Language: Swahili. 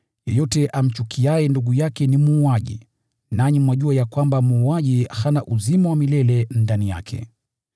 Yeyote amchukiaye ndugu yake ni muuaji, nanyi mwajua ya kwamba muuaji hana uzima wa milele ndani yake.